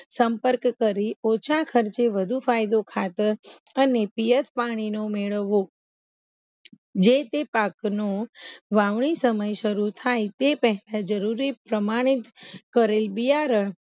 સંપર્ક કરી ઓછા ખર્ચે વધુ ફાયદો ખાતર અને પિયાસ પાણી નુ મેળવવું જે તે પાકનું વાવણી સમય સરુ થાય તે પેહલા જરૂરી પ્રમાણે કરેલ બિયારણ